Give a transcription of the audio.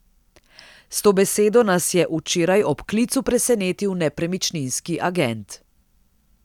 S to besedo nas je včeraj ob klicu presenetil nepremičninski agent.